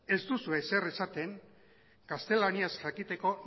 ez duzu ezer esaten gaztelaniaz jakiteko